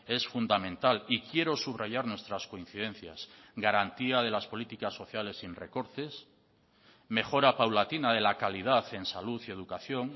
es fundamental y quiero subrayar nuestras coincidencias garantía de las políticas sociales sin recortes mejora paulatina de la calidad en salud y educación